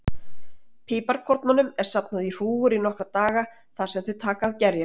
Piparkornunum er safnað í hrúgur í nokkra daga þar sem þau taka að gerjast.